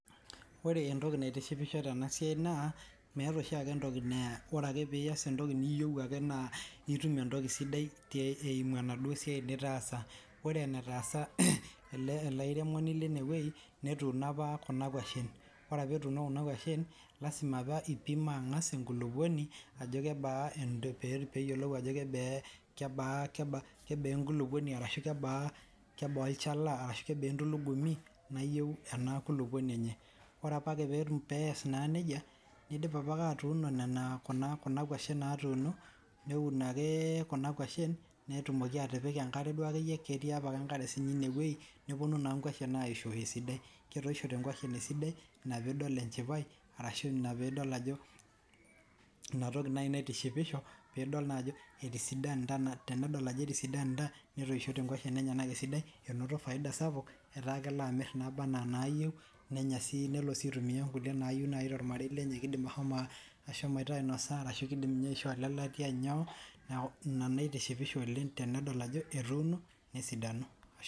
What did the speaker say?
Ore entoki naitishipisho Tena siai meeta oshi ake ore tenias entoki sidai naa etum entoki sidai eyimu enitaasa ore enaatsa ele airemoni Lene wueji netuno apa Kuna kwashen ore etuno Kuna kwashen naa lasima etang'asa apa aipima enkulupuoni pee eyiolou Ajo kebaa entulugumi nayieu ore pedip atuno Kuna kwashen natunoo neuni ake Kuna kwashen netumoki atipika ankare ketii apake enkare enewueji neyisho naa nkwashen esidai enaa pee edol enchipai ashu pee edol Ajo etisidanita naa tenidol Ajo etoishoite nkwashen esidai enoto faida sapuk etaa kelo amir nabaa enaa nayieu nelo sii aitumia nayieu tormarei lenye kidim ashomo ainosa kidim sii asho aishoo lelatia neeku en naitishipisho oleng